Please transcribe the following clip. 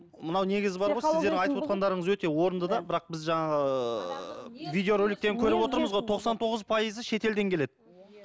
мынау негізі бар ғой сіздердің айтып отырғандарыңыз өте орында да бірақ біз жаңағы видеороликтен көріп отырмыз ғой тоқсан тоғыз пайызы шетелден келеді иә